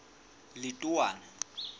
letowana